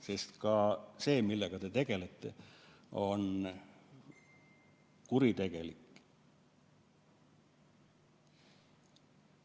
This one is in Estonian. Sest ka see, millega teie tegelete, on kuritegelik.